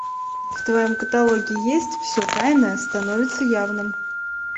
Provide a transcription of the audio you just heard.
в твоем каталоге есть все тайное становится явным